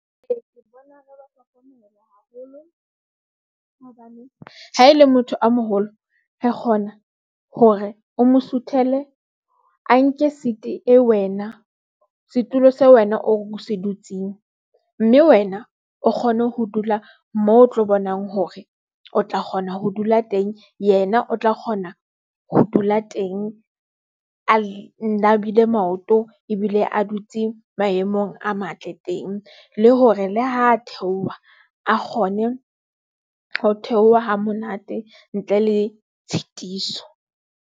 Ee, ke bona ratwa phomolo haholo hobane ha e le motho a moholo re kgona hore o mo suthele. A nke seat e wena setulo se wena o se dutseng mme wena o kgone ho dula moo o tlo bonang hore o tla kgona ho dula teng, yena o tla kgona ho dula teng a nabile maoto ebile a dutse maemong a matle teng le hore le ha theoha a kgone ho theoha ha monate ntle le tshitiso.